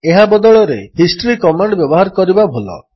ଏହା ବଦଳରେ history command ବ୍ୟବହାର କରିବା ଭଲ